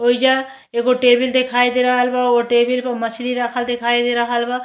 ओइजा एगो टेबिल दिखाई दे रहल बा। ओ टेबिल प मछरी रखल दिखाई दे रहल बा।